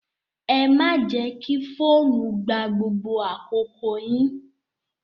Ẹ má jẹ́ kí fóònù gba gbogbo àkókò yín!